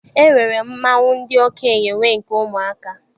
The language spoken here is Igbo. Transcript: E nwere mmanwụ ndị okenye, nwee nke ụmụaka.